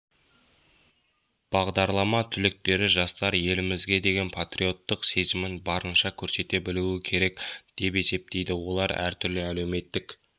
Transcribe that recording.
бағдарлама түлектері жастар елімізге деген патриоттық сезімін барынша көрсете білу керек деп есептейді олар түрлі әлеуметтік